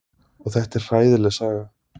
Og þetta er hræðileg saga.